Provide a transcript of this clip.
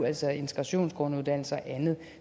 altså integrationsgrunduddannelse og andet